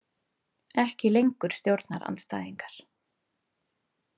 Ekki lengur stjórnarandstæðingar.